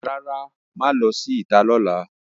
Rara, maa lo si ita lola.